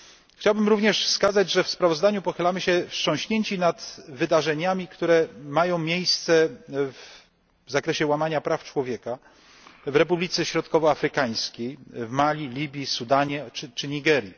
Chciałbym również wskazać, że w sprawozdaniu pochylamy się wstrząśnięci nad wydarzeniami, które mają miejsce w zakresie łamania praw człowieka w Republice Środkowo Afrykańskiej, w Mali, Libii, Sudanie czy Nigerii.